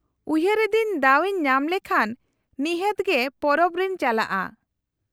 -ᱩᱭᱦᱟᱹᱨ ᱮᱫᱟᱹᱧ ᱫᱟᱣ ᱤᱧ ᱧᱟᱢ ᱞᱮᱠᱷᱟᱱ ᱱᱤᱦᱟᱹᱛ ᱜᱮ ᱯᱚᱨᱚᱵ ᱨᱮᱧ ᱪᱟᱞᱟᱜᱼᱟ ᱾